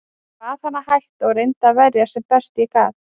Ég bað hann að hætta og reyndi að verjast sem best ég gat.